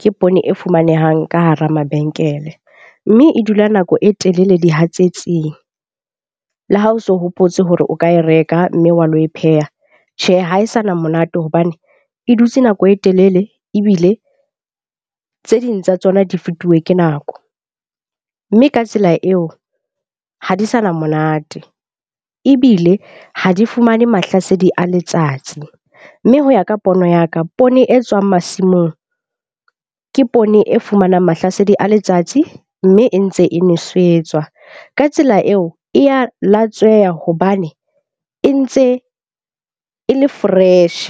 ke poone e fumanehang ka hara mabenkele. Mme e dula nako e telele dihatsetsing. Le ha o so hopotse hore o ka e reka mme wa lo e pheha. Tjhe, ha e sa na monate hobane e dutse nako e telele. Ebile tse ding tsa tsona di fetuwe ke nako. Mme ka tsela eo ha di sa na monate ebile ha di fumane mahlasedi a letsatsi. Mme ho ya ka pono ya ka poone e tswang masimong, ke poone e fumanang mahlasedi a letsatsi. Mme e ntse e nwesetswa ka tsela eo, e ya latsweha hobane e ntse e le fresh.